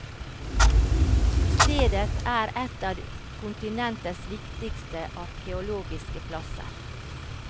Stedet er et av kontinentets viktigste arkeologiske plasser.